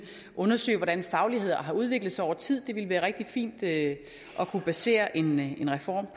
undersøge hvordan faglighed har udviklet sig over tid det ville være rigtig fint at kunne basere en reform